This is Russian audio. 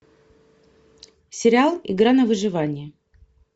сериал игра на выживание